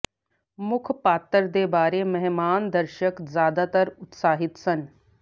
ਮੁੱਖ ਪਾਤਰ ਦੇ ਬਾਰੇ ਮਹਿਮਾਨ ਦਰਸ਼ਕ ਜਿਆਦਾਤਰ ਉਤਸਾਹਿਤ ਸਨ